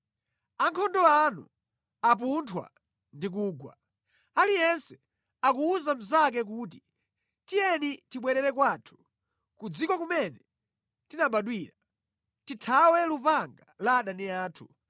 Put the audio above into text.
Ankhondo anu apunthwa ndi kugwa. Aliyense akuwuza mnzake kuti, ‘Tiyeni tibwerere kwathu, ku dziko kumene tinabadwira, tithawe lupanga la adani athu.’